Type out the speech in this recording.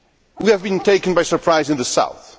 We have been taken by surprise in the South.